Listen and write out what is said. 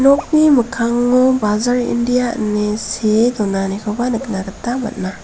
nokni mikkango bajar india ine see donanikoba nikna gita man·a.